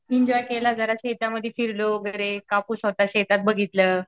Enjoy केला जरा शेतामध्ये फिरलो वगैरे. कापूस होता शेतात बघितलं.